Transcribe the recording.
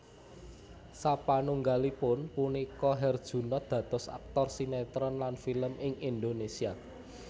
Sapanunggalipun punika Herjunot dados aktor sinetron lan film ing Indonesia